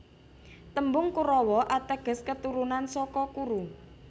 Tembung Korawa ateges keturunan saka Kuru